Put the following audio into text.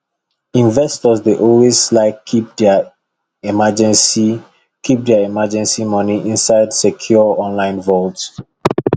investors dey always like keep their emergency keep their emergency money inside secure online vault